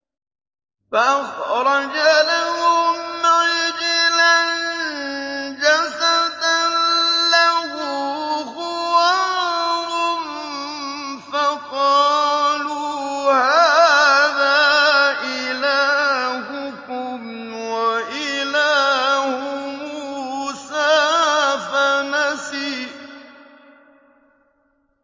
فَأَخْرَجَ لَهُمْ عِجْلًا جَسَدًا لَّهُ خُوَارٌ فَقَالُوا هَٰذَا إِلَٰهُكُمْ وَإِلَٰهُ مُوسَىٰ فَنَسِيَ